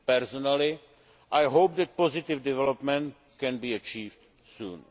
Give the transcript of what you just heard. road map. Personally, I hope that positive developments can be achieved